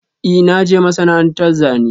I na je masana'anta Zane.